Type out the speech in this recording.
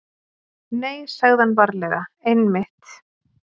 Nei, sagði hann varlega, einmitt.